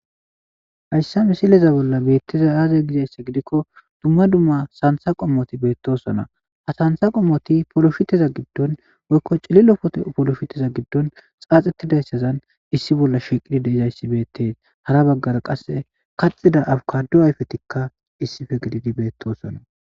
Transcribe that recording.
Hayssa misileza bolla beetteza aaze gizayssa gidikko dumma dumma santha qommoti beettosona ha tantha qommoti poloshiteza giddon woykko cililo pote poloshiteza giddon xaaxettidayssazan issi bolla shiiqidi deizayssi beettes hara baggara qasse kaxida awkadu ayfetikka issife gididi beettosona.